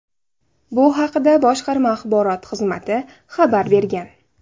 Bu haqda boshqarma axborot xizmati xabar bergan .